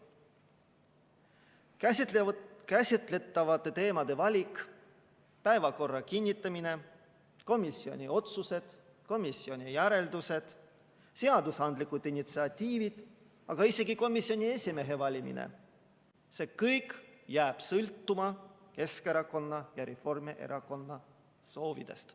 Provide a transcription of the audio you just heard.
Käsitletavate teemade valik, päevakorra kinnitamine, komisjoni otsused, komisjoni järeldused, seadusandlikud initsiatiivid, aga isegi komisjoni esimehe valimine – see kõik jääb sõltuma Keskerakonna ja Reformierakonna soovidest.